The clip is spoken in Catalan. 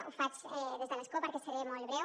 ho faig des de l’escó perquè seré molt breu